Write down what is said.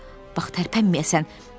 Bax, bax, tərpənməyəsən.